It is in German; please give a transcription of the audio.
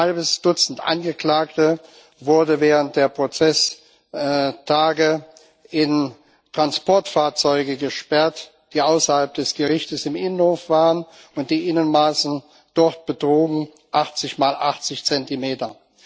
Ein halbes Dutzend Angeklagte wurde während der Prozesstage in Transportfahrzeuge gesperrt, die außerhalb des Gerichtes im Innenhof waren, und die Innenmaße dort betrugen 80 mal 80 Zentimeter.